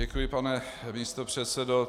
Děkuji, pane místopředsedo.